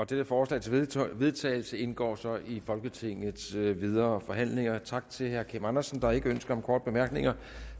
dette forslag til vedtagelse indgår så i folketingets videre forhandlinger tak til herre kim andersen der er ikke ønsker om korte bemærkninger